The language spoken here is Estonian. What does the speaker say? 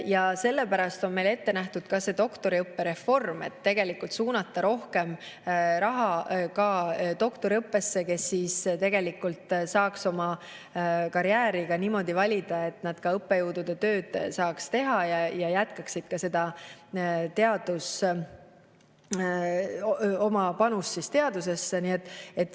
Ja sellepärast on meil ette nähtud ka doktoriõppereform, et suunata rohkem raha ka doktoriõppesse, tegelikult saaks oma karjääri niimoodi valida, et nad saaks ka õppejõutööd teha ja jätkaksid teadusesse panustamist.